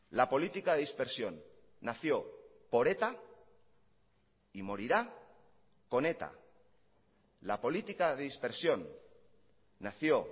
la política de dispersión nació por eta y morirá con eta la política de dispersión nació